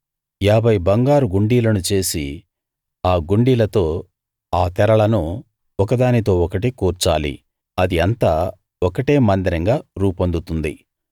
ఏభై బంగారు గుండీలను చేసి ఆ గుండీలతో ఆ తెరలను ఒకదానితో ఒకటి కూర్చాలి అది అంతా ఒకటే మందిరంగా రూపొందుతుంది